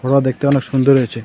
ফোটোটা দেখতে অনেক সুন্দর হয়েছে।